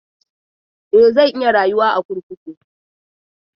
E, za ta iya rayuwa a kurkuku.